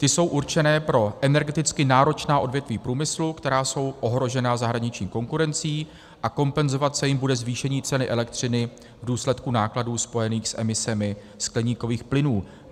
Ty jsou určené pro energeticky náročná odvětví průmyslu, která jsou ohrožená zahraniční konkurencí, a kompenzovat se jim bude zvýšení ceny elektřiny v důsledku nákladů spojených s emisemi skleníkových plynů.